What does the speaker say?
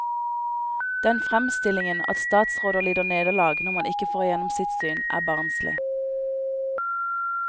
Den fremstillingen at statsråder lider nederlag når man ikke får igjennom sitt syn, er barnslig.